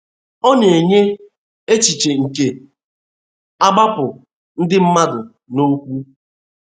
Ọ na-enye echiche nke ‘ agbapụ ndị mmadụ na okwu. ’